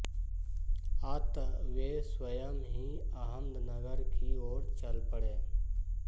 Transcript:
अत वे स्वयं ही अहमदनगर की ओर चल पड़े